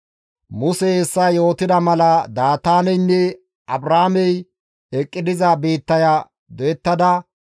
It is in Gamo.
Musey hessa yootida mala Daataaneynne Abrooney eqqi diza biittaya doyettada,